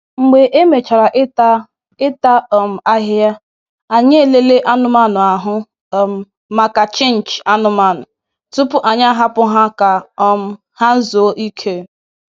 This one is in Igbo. Mgbe e mechara ịta ịta um ahịhịa, anyị e lelee anụmanụ ahụ um maka chịnchị anụmanụ, tupu anyị a hapụ ha ka um ha zuo ike.